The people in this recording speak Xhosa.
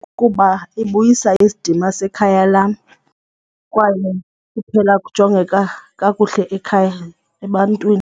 Kukuba ibuyisa isidima sekhaya lam kwaye kuphela kujongeka kakuhle ekhaya ebantwini.